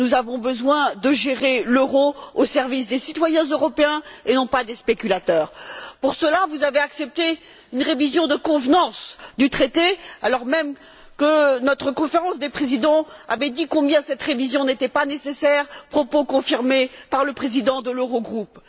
Nous avons besoin de gérer l'euro au service des citoyens européens et non pas des spéculateurs. Pour cela, vous avez accepté une révision de convenance du traité, alors même que notre Conférence des présidents avait dit combien cette révision n'était pas nécessaire propos confirmés par le président de l'Eurogroupe.